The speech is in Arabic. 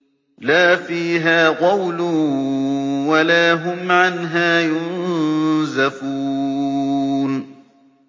لَا فِيهَا غَوْلٌ وَلَا هُمْ عَنْهَا يُنزَفُونَ